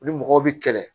U ni mɔgɔw bɛ kɛlɛ